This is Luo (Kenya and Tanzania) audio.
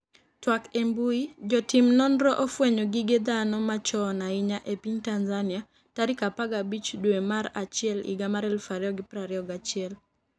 twak e mbui, Jotim nonro ofwenyo gige dhano machon ahinya e piny Tanzania tarik 15 dwe mar achiel higa mar 2021